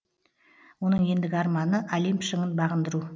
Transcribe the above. оның ендігі арманы олимп шыңын бағындыру